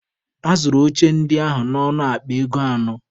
A zụrụ oche ndị ahụ n'ọnụ akpa ego anọ